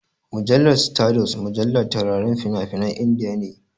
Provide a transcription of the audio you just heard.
Mujallar Stardust mujallar taurarin fina-finan Indiya ne.